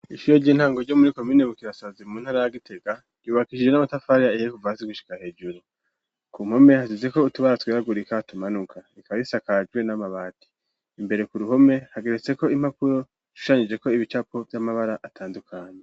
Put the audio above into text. Ishure ry'intango ryo muri komine bukirasazi mu ntara ya Gitega ryubakishije n'amatafari ahiye kuva hasi gushika hejuru ku mpome hasizeko utubara tweragurika tumanuka rikaba risakajwe n'amabati imbere ku ruhome hageretseko impapuro zishushanijeko ibicapo vy'amabara atandukanye.